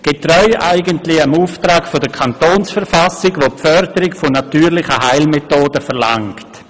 Dies eigentlich getreu dem Auftrag der Kantonsverfassung, welche die Förderung von natürlichen Heilmetoden verlangt.